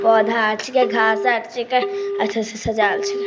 पौधा आर छींके घास आर छींके अच्छा से सजायल छींके।